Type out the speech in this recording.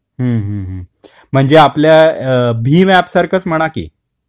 हम्म हम्म्म म्हणजे आता भीम ऐप सारखच म्हणा की